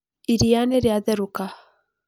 Iria nĩrĩatherũka.